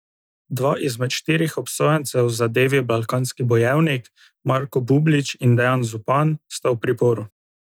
Dva izmed štirih obsojencev v zadevi Balkanski bojevnik, Marko Bublić in Dejan Zupan, sta v priporu.